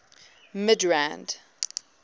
midrand